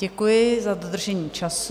Děkuji za dodržení času.